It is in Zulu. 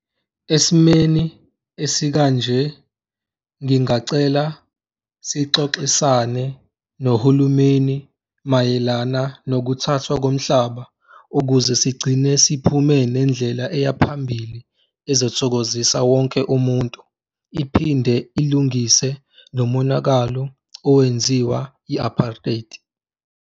Esimeni esikanje ngingacela sixoxisane nohulumeni mayelana nokuthathwa komhlaba ukuze sigcine siphume nendlela eyaphambili ezithokozisa wonke umuntu iphinde ilungise nomonakalo owenziwa i-apartheid.